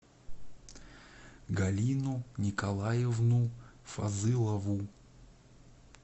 галину николаевну фазылову